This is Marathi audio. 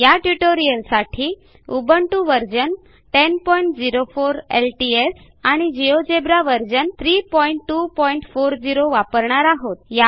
या ट्युटोरियलसाठी उबुंटू व्हर्शन 1004 एलटीएस आणि जिओजेब्रा व्हर्शन 3240 वापरणार आहोत